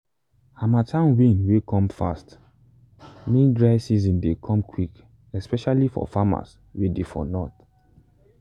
harmattan wind way come fast mean dry season dey come quick especially for farms way dey for north.